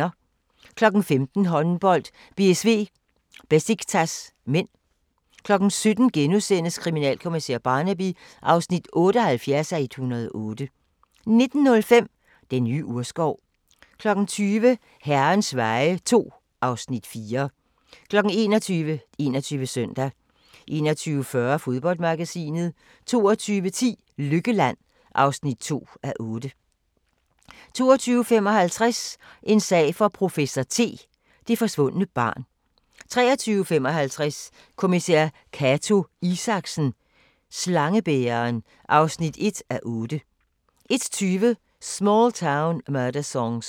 15:00: Håndbold: BSV-Besiktas (m) 17:00: Kriminalkommissær Barnaby (78:108)* 19:05: Den nye urskov 20:00: Herrens veje II (Afs. 4) 21:00: 21 Søndag 21:40: Fodboldmagasinet 22:10: Lykkeland (2:8) 22:55: En sag for professor T: Det forsvundne barn 23:55: Kommissær Cato Isaksen: Slangebæreren (1:8) 01:20: Small Town Murder Songs